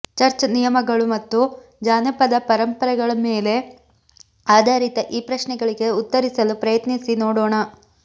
church ನಿಯಮಗಳು ಮತ್ತು ಜಾನಪದ ಪರಂಪರೆಗಳ ಮೇಲೆ ಆಧಾರಿತ ಈ ಪ್ರಶ್ನೆಗಳಿಗೆ ಉತ್ತರಿಸಲು ಪ್ರಯತ್ನಿಸಿ ನೋಡೋಣ